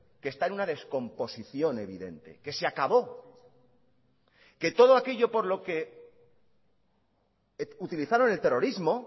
que está en una descomposición evidente que se acabó que todo aquello por lo que utilizaron el terrorismo